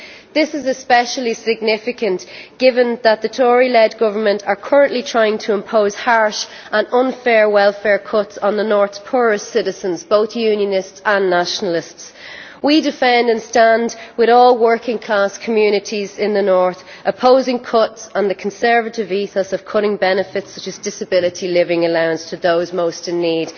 This is especially significant given that the Tory led government are currently trying to impose harsh and unfair welfare cuts on the North's poorest citizens, both Unionists and Nationalists. We defend and stand with all working class communities in the North, opposing cuts and the Conservative ethos of cutting benefits such as disability living allowance to those most in need.